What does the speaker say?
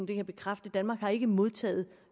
kan jeg bekræfte danmark har ikke modtaget